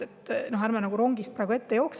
Ärme jookse praegu rongist ette!